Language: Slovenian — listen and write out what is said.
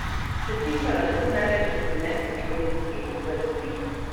S čim pa lahko največ doprinese slovenski vrsti?